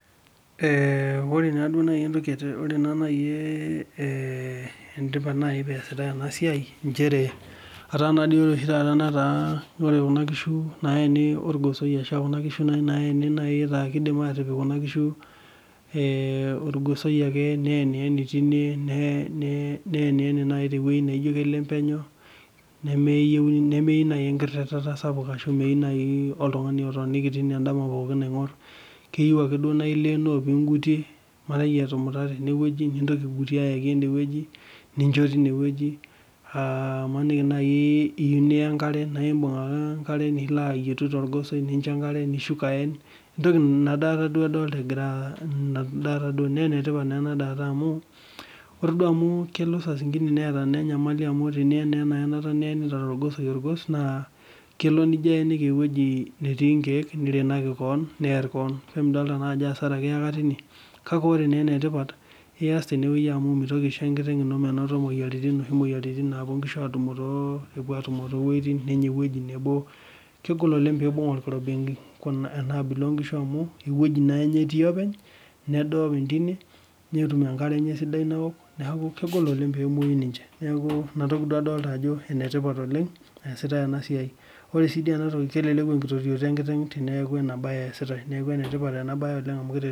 Ee Ore nai entoki etipat peasitae enasia ataa oshi taata kuna kishu nataa keeni torgosoi nataa kidim atipik kuna kishu neenieni nai tewoi naijo keleng penyo nemeyieu nai enkirirata sapuk ashu oltungani otoniki tine aingor keyieu ake nailenoo pingutie imaniki etumite ene nintoki aigutiw abaki inewueji imaniki nai iyieu nincho enkare nili amaniki torgosoi nilo aisho enkare nishuk aen inatoki adolita na enetipat inadaata amu tenien na enaenata nienetia torgos naa kelo nijo aeniki ewoi natii inkiek negor keon near keon neaku amidolta ajo entoki etipat neaku ias amu mitumoki aishoo enkiteng ino moyiaritin noshi napuo nkishu atumo tewoi nabo negol oleng pibung oloirobi enaabila onkishu amu ewoi nabo etii neaku inatoki duo adolita ajo enetipat oleng teneasi enabae neaku enetipat oleng